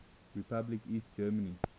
republic east germany